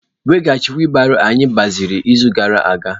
Weghachi wiilibaro anyị gbaziri izu gara aga.